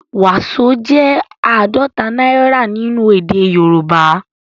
Waso jẹ àádọta náírà nínú èdè Yorùbá